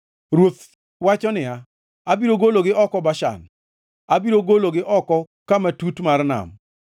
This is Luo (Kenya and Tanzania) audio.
Ruoth wacho niya, “Abiro gologi oko Bashan; abiro gologi oko kama tut mar nam,